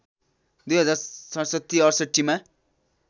२०६७ ६८ मा